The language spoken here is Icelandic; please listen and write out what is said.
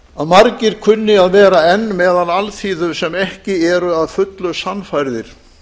að margir kunni að vera enn meðal alþýðu sem ekki eru að fullu sannfærðir